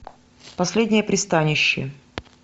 последнее пристанище